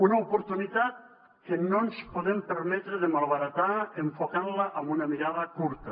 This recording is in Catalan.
una oportunitat que no ens podem permetre de malbaratar enfocant la amb una mirada curta